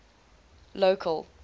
local